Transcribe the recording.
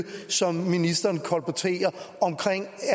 som ministeren kolporterer om